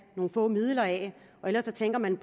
nogle få midler af og ellers tænker man